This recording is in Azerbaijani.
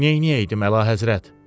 Neynəyəydim, əlahəzrət?